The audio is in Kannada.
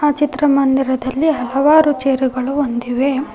ಆ ಚಿತ್ರಮಂದಿರದಲ್ಲಿ ಹಲವಾರು ಚೇರುಗಳು ಹೊಂದಿವೆ.